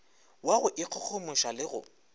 wa go ikgogomoša le go